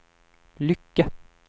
Lycke